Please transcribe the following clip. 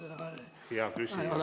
Hea küsija, teie aeg!